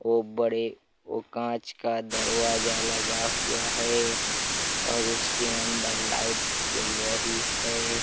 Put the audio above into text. --एक बड़े ओ बड़े कांच का दरवाजा लगा हुआ है और उसके अंदर लाइट जल रही है।